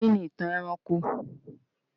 Kí ni ìtàn ẹranko?